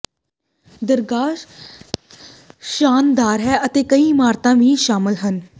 ਦਰਗਾਹ ਸ਼ਾਨਦਾਰ ਹੈ ਅਤੇ ਕਈ ਇਮਾਰਤਾਂ ਵੀ ਸ਼ਾਮਲ ਹਨ